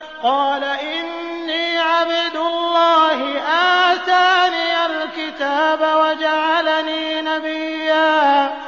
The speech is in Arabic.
قَالَ إِنِّي عَبْدُ اللَّهِ آتَانِيَ الْكِتَابَ وَجَعَلَنِي نَبِيًّا